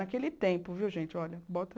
Naquele tempo, viu, gente, olha, bota...